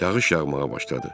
Yağış yağmağa başladı.